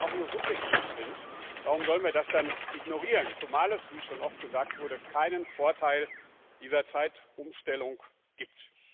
Aber wenn sie auch nur subjektiv sind, warum sollen wir das dann ignorieren, zumal es wie schon oft gesagt wurde keinen Vorteil dieser Zeitumstellung gibt?